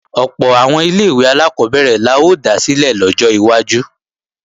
Ọ̀pọ̀ àwọn ilé-ìwé alákọ́bẹ̀rẹ̀ la ó dá sílẹ̀ lọ́jọ́ iwájú